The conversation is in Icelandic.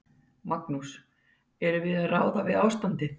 Magnús: Erum við að ráða við ástandið?